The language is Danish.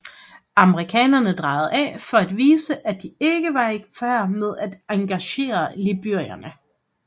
Amerikanerne drejede af for at vise at de ikke var i færd med at engagere libyerne